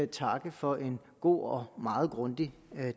takke for en god og meget grundig